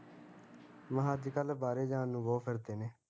ਮੈਂ ਕਿਹਾ ਅੱਜ ਕੱਲ ਬਾਹਰੇ ਜਾਣ ਨੂੰ ਬਹੁਤ ਫਿਰਦੇ ਨੇ